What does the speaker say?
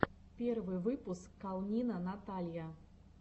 первый выпуск калнина наталья